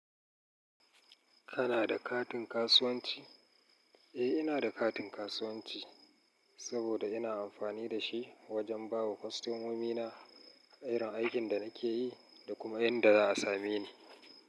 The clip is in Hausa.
Kana da katin kasuwanci? Eh, ina da katin kasuwanci saboda ina amfani da shi wajen ba wa kostomomina irin aikin da nake yi da kuma inda za a same ni.